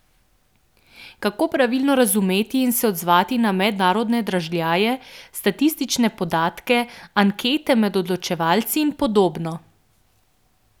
Kako pravilno razumeti in se odzivati na mednarodne dražljaje, statistične podatke, ankete med odločevalci in podobno?